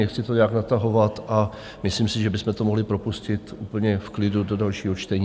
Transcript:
Nechci to nějak natahovat a myslím si, že bychom to mohli propustit úplně v klidu do dalšího čtení.